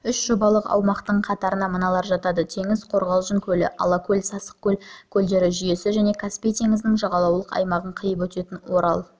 үш жобалық аумақтың қатарына мыналар жатады теңіз-қорғалжың көлі алакөл-сасықкөл көлдері жүйесі және каспий теңізінің жағалаулық аймағын қиып өтетін орал